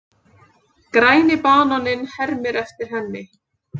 Græni bananinn hermir eftir henni.